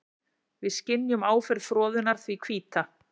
Við skynjum áferð froðunnar því hvíta.